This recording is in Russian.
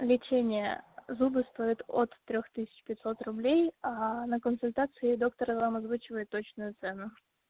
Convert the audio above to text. лечение зубы стоит от трёх тысяч пятьсот рублей а на консультации доктором вам озвучивает точную цену